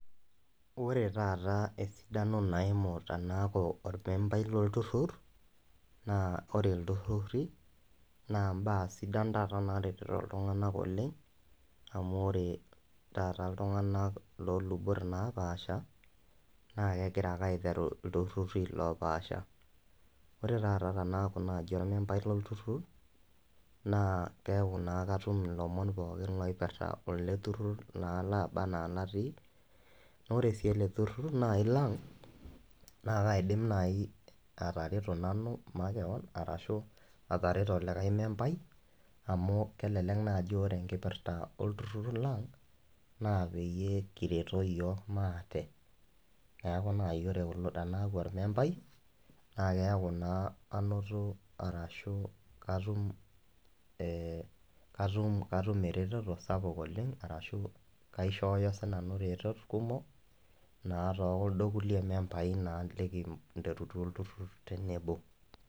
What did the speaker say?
Ore taaata esidano naimu tanaaku ormembai lolturur naa ore iltururi naa impaa sidan taat naaretito iltung'anak oleng neeku ore taata iltung'anak loolubot naapasha naa kegira ake aiteru iltururi loopaasha ore taata tanaaku ormembai lolturur neeku naa katum ilomon kumok lele turur Lebanaa natii ore sii ele turur naai lang naa kaidim naaji atareto nanu arashuu atareto lilae membai amu kelelek naa ajo ore enkipirta ele turur lang naa peyie kilepunyie nikireto iyiok maate neeku naa ina ormembai naakeku naa anoto arashu katum ereteto sapuk oleng ashu kaishooyo siinanu iretot kumok naatoonkuldo lulie membai lininterutua olturur tenebo.